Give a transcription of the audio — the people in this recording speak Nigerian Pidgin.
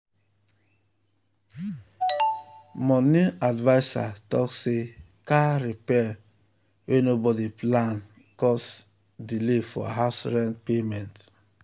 money adviser talk say car repair wey nobody plan cause delay for house rent payment.